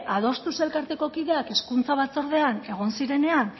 adostuz elkarteko kideak hezkuntza batzordean egon zirenean